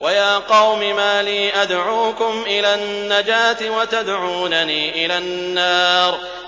۞ وَيَا قَوْمِ مَا لِي أَدْعُوكُمْ إِلَى النَّجَاةِ وَتَدْعُونَنِي إِلَى النَّارِ